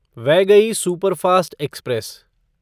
Vaigai superfast express